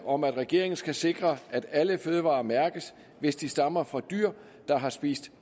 om at regeringen skal sikre at alle fødevarer mærkes hvis de stammer fra dyr der har spist